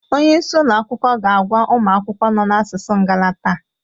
Onye isi ụlọ akwụkwọ ga-agwa ụmụ akwụkwọ nọ na asusu Igala taa